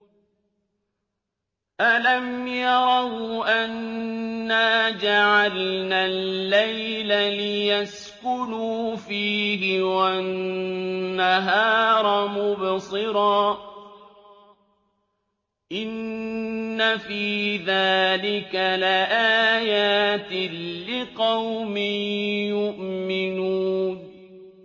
أَلَمْ يَرَوْا أَنَّا جَعَلْنَا اللَّيْلَ لِيَسْكُنُوا فِيهِ وَالنَّهَارَ مُبْصِرًا ۚ إِنَّ فِي ذَٰلِكَ لَآيَاتٍ لِّقَوْمٍ يُؤْمِنُونَ